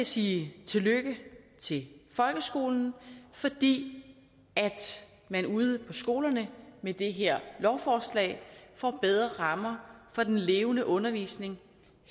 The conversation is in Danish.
sige tillykke til folkeskolen fordi man ude på skolerne med det her lovforslag får bedre rammer for den levende undervisning